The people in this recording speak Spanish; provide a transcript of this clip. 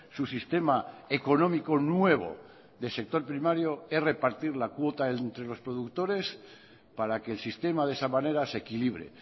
su sistema económico nuevo del sector primario es repartir la cuota entre los productores para que el sistema de esa manera se equilibre